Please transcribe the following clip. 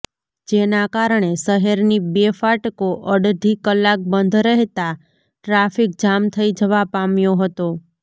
જેના કારણે શહેરની બે ફાટકો અડધી કલાક બંધ રહેતા ટ્રાફિક જામ થઈ જવા પામ્યો હતો